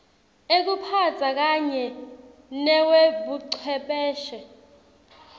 ekuphatsa kanye newebuchwepheshe